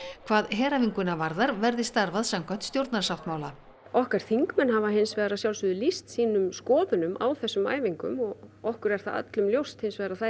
hvað heræfinguna varðar verði starfað samkvæmt stjórnarsáttmála okkar þingmenn hafa hins vegar að sjálfsögðu lýst sínum skoðunum á þessum æfingum og okkur er það öllum ljóst hins vegar að þær